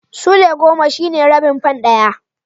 Sulai goma shine rabin fan ɗaya.